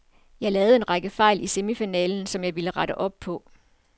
Jeg lavede en række fejl i semifinalen, som jeg ville rette op på.